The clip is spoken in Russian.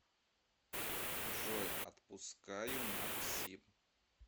джой отпускаю максим